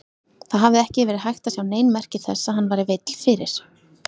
Það hafði ekki verið hægt að sjá nein merki þess að hann væri veill fyrir.